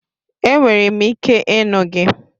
Enwere m ike ịnụ gị